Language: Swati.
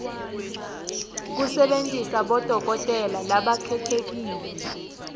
kusebentisa bodokotela labakhetsekile